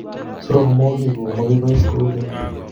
Sorormoikkuk makoi pais kou keny